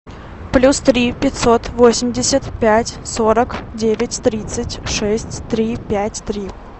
плюс три пятьсот восемьдесят пять сорок девять тридцать шесть три пять три